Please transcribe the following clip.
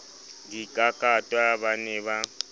di kakatwa ba ne ba